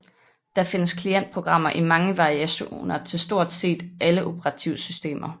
Der findes klientprogrammer i mange varianter til stort set alle operativsystemer